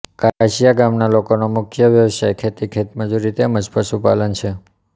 કાસીયા ગામના લોકોનો મુખ્ય વ્યવસાય ખેતી ખેતમજૂરી તેમ જ પશુપાલન છે